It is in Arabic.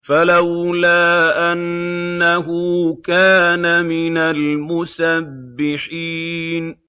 فَلَوْلَا أَنَّهُ كَانَ مِنَ الْمُسَبِّحِينَ